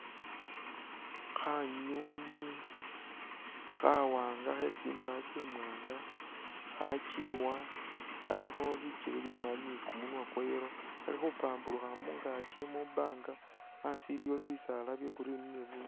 Khanyunyi kha wanga khetsindaya tsi wanga khakyiwa khalikho bikele bimali ni kumunwa kwa yellow khali khupamburukha mungakyi mubanga asi iliwo bisaala bya green ni bu